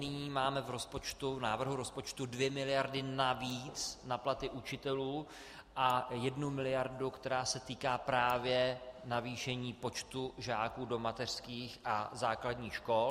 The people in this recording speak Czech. Nyní máme v návrhu rozpočtu dvě miliardy navíc na platy učitelů a jednu miliardu, která se týká právě navýšení počtu žáků do mateřských a základních škol.